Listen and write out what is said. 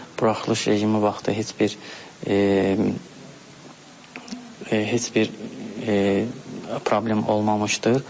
Buraxılış rejimi vaxtı heç bir heç bir problem olmamışdır.